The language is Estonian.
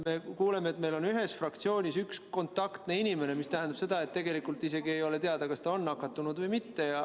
Me kuuleme, et meil on ühes fraktsioonis üks kontaktne inimene, mis tähendab seda, et tegelikult isegi ei ole teada, kas ta on nakatunud või mitte.